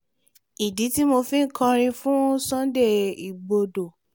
ìdí tí mo fi kọrin fún sunday igbodò